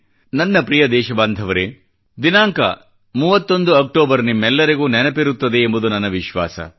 ನನ್ನ ಪ್ರಿಯ ದೇಶ ಬಾಂಧವರೇ ದಿನಾಂಕ 31 ಅಕ್ಟೋಬರ್ ನಿಮ್ಮೆಲ್ಲರಿಗೂ ನೆನಪಿರುತ್ತದೆ ಎಂಬುದು ನನ್ನ ವಿಶ್ವಾಸ